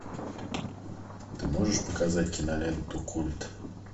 ты можешь показать киноленту культ